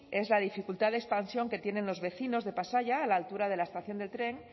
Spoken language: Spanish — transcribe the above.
es la dificultad de expansión que tienen los vecinos de pasaia a la altura de la estación de tren